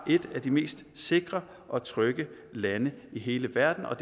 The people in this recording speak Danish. et af de mest sikre og trygge lande i hele verden og